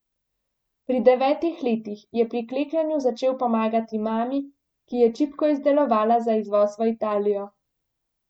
Pri devetih letih je pri klekljanju začel pomagati mami, ki je čipko izdelovala za izvoz v Italijo.